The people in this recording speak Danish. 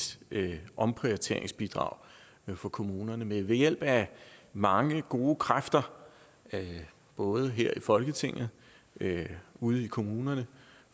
omprioriteringsbidrag for kommunerne men ved hjælp af mange gode kræfter både her i folketinget ude i kommunerne